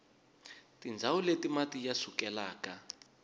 tindzawu leti mati ya sukelaka